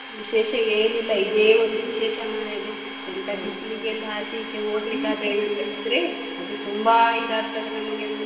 ವಿಶೇಷ ಏನಿಲ್ಲ ಇದೆ ಒಂದು ವಿಶೇಷ ಮಾರಾಯ್ದೆ ಎಂತ ಬಿಸಿಲಿಗೆ ಎಲ್ಲ ಆಚೆ ಈಚೆ ಹೋಗ್ಲಿಕ್ಕೆ ಆದ್ರೆ ಏನಾದ್ರು ಇದ್ರೆ ಅದು ತುಂಬಾ ಇದಾಗ್ತದೆ ನಮಿಗೊಂದು.